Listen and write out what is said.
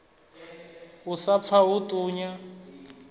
u sa pfa hu ṱunya